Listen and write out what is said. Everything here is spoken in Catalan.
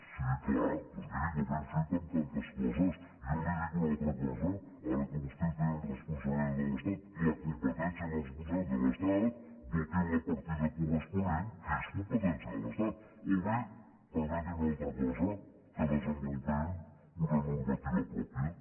sí clar doncs miri com hem fet amb tantes coses jo li dic una altra cosa ara que vos·tès tenen responsabilitats a l’estat la competència i la responsabilitat de l’estat dotin la partida corres·ponent que és competència de l’estat o bé perme·tin una altra cosa que desenvolupem una normativa pròpia